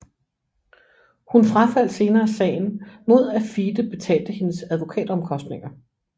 Hun frafaldt senere sagen mod at FIDE betalte hendes advokatomkostninger